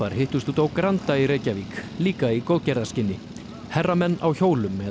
hittust úti á Granda í Reykjavík líka í góðgerðarskyni herramenn á hjólum eða